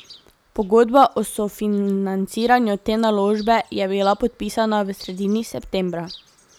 Pogodba o sofinanciranju te naložbe je bila podpisana v sredini septembra.